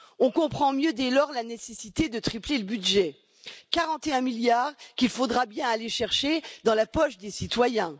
On comprend mieux dès lors la nécessité de tripler le budget, 41 milliards, qu'il faudra bien aller chercher dans la poche des citoyens.